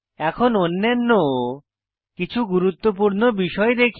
এখন অন্যান্য কিছু গুরুত্বপূর্ণ বিষয় দেখি